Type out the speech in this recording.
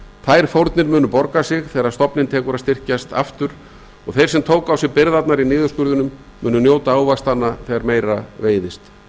þær fórnir munu borga sig þegar stofninn tekur að styrkjast á nýjan leik og þeir sem tóku á sig byrðarnar í niðurskurðinum munu njóta ávaxtanna þegar meira veiðist með